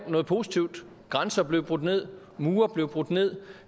noget positivt grænser blev brudt ned mure blev brudt ned